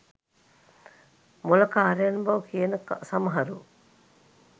මොළකාරයන් බව කියන සමහරු